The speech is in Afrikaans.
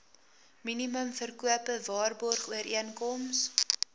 minimum verkope waarborgooreenkoms